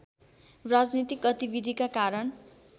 राजनीतिक गतिविधिका कारण